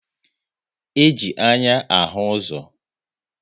E ji anya ahụ ụzọ